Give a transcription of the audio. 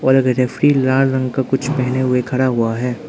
और रेफरी लाल रंग का कुछ पहने हुए खड़ा हुआ है।